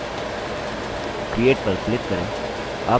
create पर click करें